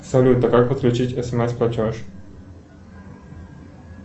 салют а как подключить смс платеж